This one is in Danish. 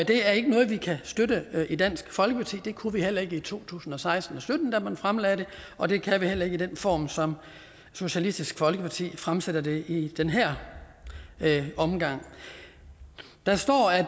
er ikke noget vi kan støtte i dansk folkeparti det kunne vi heller ikke i to tusind og seksten og sytten da man fremlagde det og det kan vi heller ikke i den form som socialistisk folkeparti fremsætter det i i den her omgang der står at